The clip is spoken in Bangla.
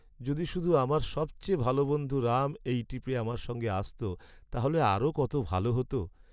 যদি শুধু আমার সবচেয়ে ভালো বন্ধু রাম এই ট্রিপে আমার সঙ্গে আসত! তাহলে আরও কত ভালো হত।